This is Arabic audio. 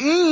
إِن